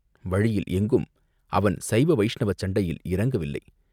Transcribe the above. வழியில் எங்கும் அவன் சைவ வைஷ்ணவச் சண்டையில் இறங்கவில்லை.